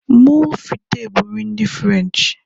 Moules Frites bụ nri ndi Ferenchi